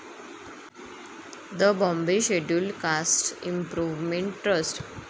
the Bombay scheduled castes improvement trust